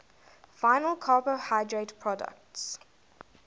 final carbohydrate products